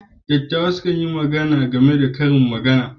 Dattawa sukan yi magana game da Karin Magana.